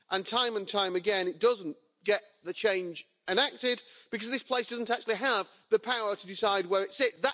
Time and time again, it doesn't get the change enacted because this place doesn't actually have the power to decide where it sits.